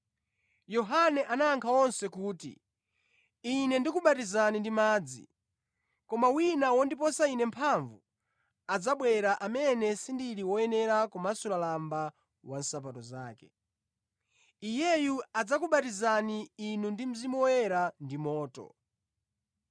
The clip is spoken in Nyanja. Yohane anayankha onse kuti, “Ine ndikubatizani ndi madzi. Koma wina wondiposa ine mphamvu adzabwera amene sindili woyenera kumasula lamba wa nsapato zake. Iyeyu adzakubatizani inu ndi Mzimu Woyera ndi moto.